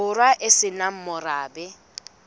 borwa e se nang morabe